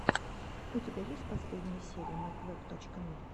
у тебя есть последняя серия мэйквэб точка ми